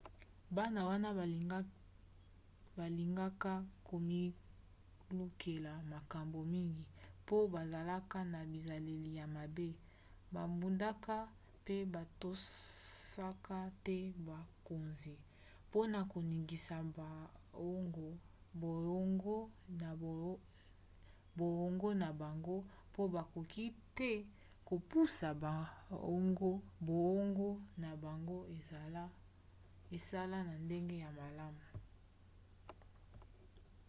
bana wana balingaka komilukela makambo mingi mpo bazalaka na bizaleli ya mabe babundaka mpe batosaka te bokonzi mpona koningisa boongo na bango mpo bakoki te kopusa boongo na bango esala na ndenge ya malamu